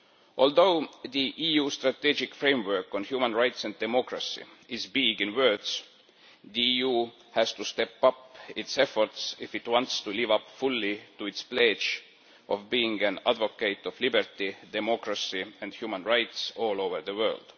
Although the EU strategic framework on human rights and democracy is big on words, the EU has to step up its efforts if it wants to live up fully to its pledge of being an advocate of liberty, democracy and human rights all over the world.